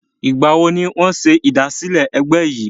Ìgbà wo ni wọn ṣe ìdásílẹ́ ẹgbẹ́ yìí?